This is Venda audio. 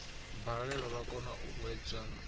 balelwa vha kona u hwedza